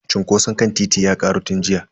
Cunkoson kan titin ya karu tun jiya.